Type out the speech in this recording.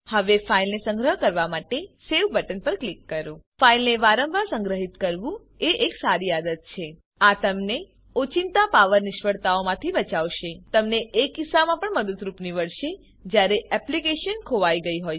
હવે ફાઈલને સંગ્રહવા માટે સવે બટન પર ક્લિક કરો ફાઈલને વારંવાર સંગ્રહિત કરવું એ એક સારી આદત છે આ તમને ઓચિંતા પાવર નિષ્ફળતાઓમાંથી બચાવશે એજ રીતે તમને એ કિસ્સામાં પણ મદદરૂપ નીવડશે જયારે એપ્લીકેશન ખોરવાઈ ગયી હોય